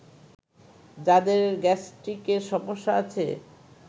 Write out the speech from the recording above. যাদের গ্যাস্ট্রিকের সমস্যা আছে